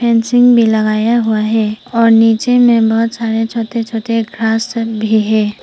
Fencing भी लगाया हुआ है और नीचे में बहुत सारे छोटे छोटे घास सब भी हैं।